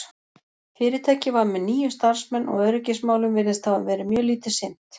fyrirtækið var með níu starfsmenn og öryggismálum virðist hafa verið mjög lítið sinnt